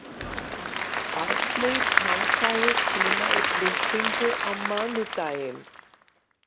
Arney, pantaðu tíma í klippingu á mánudaginn.